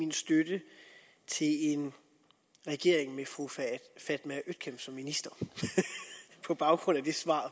min støtte til en regering med fru fatma øktem som minister på baggrund af det svar